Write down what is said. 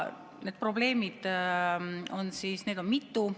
Neid probleeme on mitu.